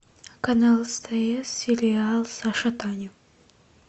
канал стс сериал саша таня